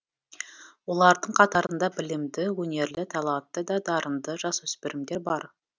олардың қатарында білімді өнерлі талантты да дарынды жасөспірімдер бар